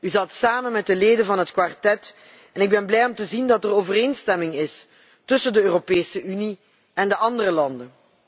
U zat samen met de leden van het Kwartet en het verheugt mij te zien dat er overeenstemming is tussen de Europese Unie en de andere landen.